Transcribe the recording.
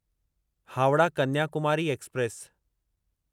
Howrah Kanyakumari express